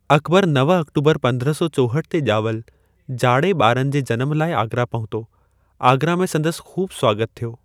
अकबरु नव अक्टूबर पंद्रह सौ चौहठ ते ॼावल जाड़े ॿारनि जे जनम लाइ आगरा पहुतो। आगरा में संदसि ख़ूब स्वागत थियो।